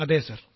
അതെ സർ